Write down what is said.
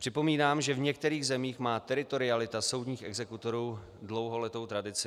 Připomínám, že v některých zemích má teritorialita soudních exekutorů dlouholetou tradici.